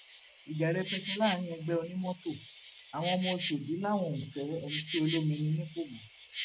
ìjà rẹpẹtẹ láàrin ẹgbẹ onímọtò àwọn ọmọ ọṣọdì làwọn ò fẹ mc olomini nípò mọ